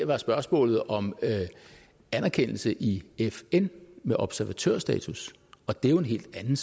var spørgsmålet om anerkendelse i fn med observatørstatus og det er jo en helt anden